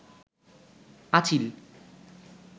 আঁচিল